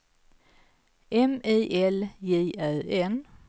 M I L J Ö N